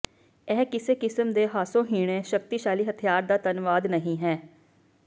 ਇਹ ਕਿਸੇ ਕਿਸਮ ਦੇ ਹਾਸੋਹੀਣੇ ਸ਼ਕਤੀਸ਼ਾਲੀ ਹਥਿਆਰ ਦਾ ਧੰਨਵਾਦ ਨਹੀਂ ਹੈ